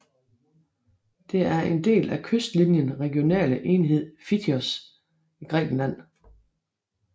Det er en del af kystlinjen regionale enhed Fthiotis i Grækenland